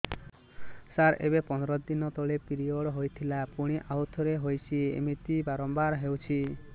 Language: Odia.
ସାର ଏବେ ପନ୍ଦର ଦିନ ତଳେ ପିରିଅଡ଼ ହୋଇଥିଲା ପୁଣି ଆଉଥରେ ହୋଇଛି ଏମିତି ବାରମ୍ବାର ହଉଛି